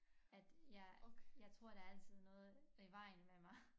At jeg jeg tror der er altid noget i vejen med mig